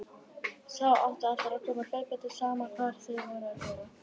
Þá áttu allir að koma hlaupandi, sama hvað þeir voru að gera.